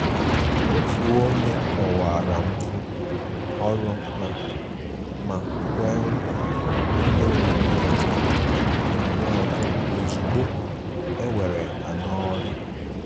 Òtù ònye kọ̀wara mfu ọrụ ha ma kwè nkwa ịnye onyinye ọzọ onyinye ọzọ ozúgbo e were ha n' ọrụ.